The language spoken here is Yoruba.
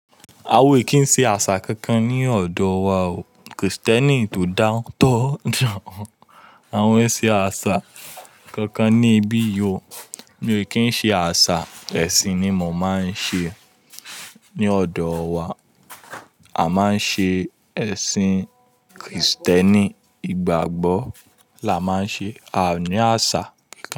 Awa ò kí ń ṣe àṣà kankan ní ọ̀dọ̀ wa o. Krìstẹ́nì tó dáńtọ́ dà. A ò kí ń ṣe àṣà kankan ní ibi yìí o. Mi ò kí ń ṣe àṣà. Ẹ̀sìn ni mo máa ń ṣe. Ni ọ̀dọ̀ wa, a máa ń ṣe ẹ̀sìn Krìstẹ́nì. Ìgbàgbọ́ là máa ń ṣe, a ò ní àṣà.